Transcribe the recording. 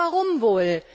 Ja warum wohl?